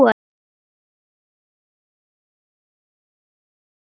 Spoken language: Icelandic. Við hin fögnum ekki núna.